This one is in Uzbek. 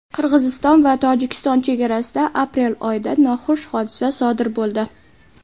Qirg‘iziston va Tojikiston chegarasida aprel oyida noxush hodisa sodir bo‘ldi.